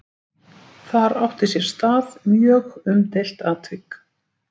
Þar átti sér stað mjög umdeilt atvik.